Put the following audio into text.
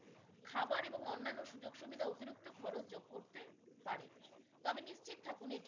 খাবার এবং অন্যান্য সুযোগ সুবিধা অতিরিক্ত খরচ যোগ করতে পারে তবে নিশ্চিত থাকুন এটি